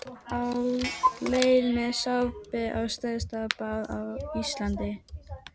Á leið með sápu á stærsta bað á Íslandi.